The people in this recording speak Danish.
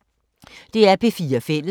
DR P4 Fælles